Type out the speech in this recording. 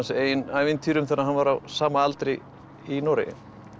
eigin ævintýrum þegar hann var á sama aldri í Noregi